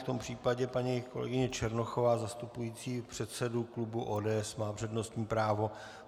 V tom případě paní kolegyně Černochová zastupující předsedu klubu ODS má přednostní právo.